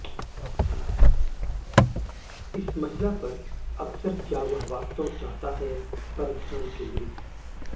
इस महिला पर अक्सर क्या वह वास्तव चाहता है पर ध्यान केंद्रित